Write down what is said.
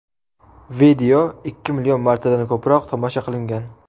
Video ikki million martadan ko‘proq tomosha qilingan.